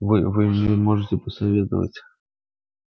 вы вы мне можете посоветовать